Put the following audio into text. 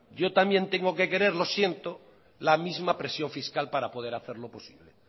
yo también tengo que querer lo siento la misma presión fiscal para poder hacerlo posible